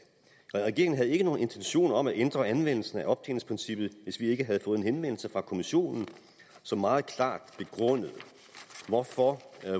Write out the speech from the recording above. regeringen havde ikke nogen intentioner om at ændre anvendelsen af optjeningsprincippet hvis vi ikke havde fået en henvendelse fra kommissionen som meget klart begrundede hvorfor